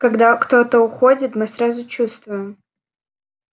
когда кто-то уходит мы сразу чувствуем